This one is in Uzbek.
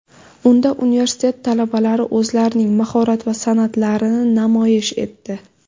Unda universitet talabalari o‘zlarining mahorat va san’atlarini namoyish etdi.